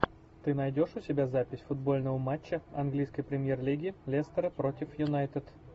ты найдешь у себя запись футбольного матча английской премьер лиги лестера против юнайтед